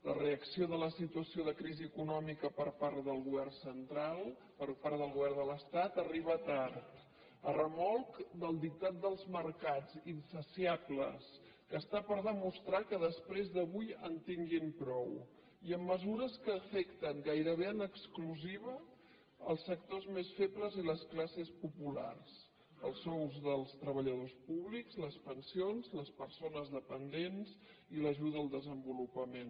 la reacció de la situació de crisi econòmica per part del govern central per part del govern de l’estat arriba tard a remolc del dictat dels mercats insaciables que està per demostrar que després d’avui en tinguin prou i amb mesures que afecten gairebé en exclusiva els sectors més febles i les classes populars els sous dels treballadors públics les pensions les persones dependents i l’ajuda al desenvolupament